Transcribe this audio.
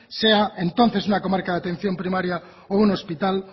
sea entonces una comarca de atención primaria o un hospital